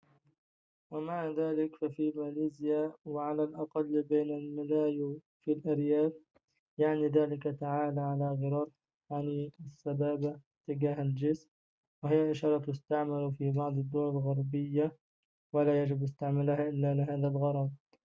ومع ذلك ففي ماليزيا وعلى الأقل بين الملايو في الأرياف يعني ذلك تعال على غرار حني السبابة اتجاه الجسم وهي إشارة تُستعمل في بعض الدول الغربية ولا يجب استعمالها إلا لهذا الغرض